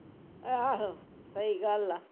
ਆਹੋ ਸਹੀ ਗੱਲ ਆ